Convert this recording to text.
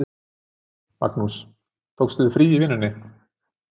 Magnús: Tókst þú þér frí í vinnunni?